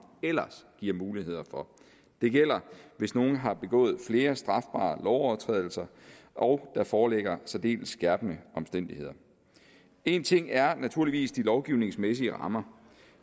ellers giver mulighed for det gælder hvis nogen har begået flere strafbare lovovertrædelser og der foreligger særdeles skærpende omstændigheder en ting er naturligvis de lovgivningsmæssige rammer